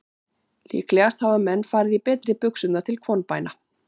Líklegast hafa menn farið í betri buxurnar til kvonbæna.